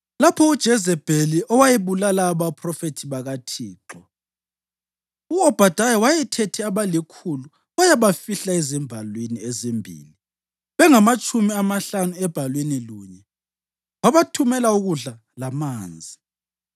Lapho uJezebheli wayebulala abaphrofethi bakaThixo, u-Obhadaya wayethethe abalikhulu wayabafihla ezimbalwini ezimbili, bengamatshumi amahlanu ebhalwini lunye, wabathumela ukudla lamanzi.)